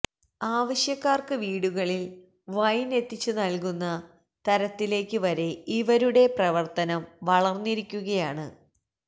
ആവശ്യക്കാര്ക്ക് വീടുകളില് വൈന് എത്തിച്ചു നല്കുന്ന തരത്തിലേക്ക് വരെ ഇവരുടെ പ്രവര്ത്തനം വളര്ന്നിരിക്കുകയാണ്